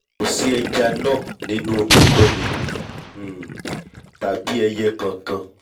kò sí ẹja náà nínú omi kómi um tàbí ẹiyẹ kankan